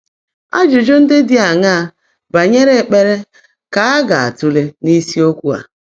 Ájụ́jụ́ ndị́ dị́ áṅaá bányèré ékpèré kà á gá-átụ́leè n’ísiokwú á?